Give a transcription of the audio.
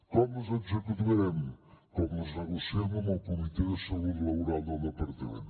com les executarem com les negociem amb el comitè de salut laboral del departament